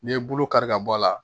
N'i ye bolo kari ka bɔ a la